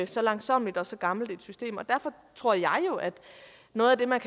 så langsommeligt og så gammelt et system derfor tror jeg jo at noget af det man